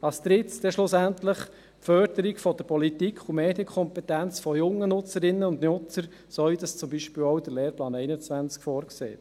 als Drittes schlussendlich die Förderung der Politik- und Medienkompetenz von jungen Nutzerinnen und Nutzern, so wie es zum Beispiel auch der Lehrplan 21 vorsieht.